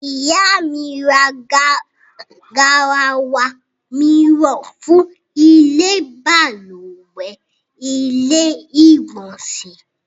Ìyá mi ra garawa mìíràn fún ìlò balùwẹ́ / ilé ìgbọ̀nsẹ̀